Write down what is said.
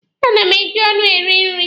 A na m eji ọnụ eri nri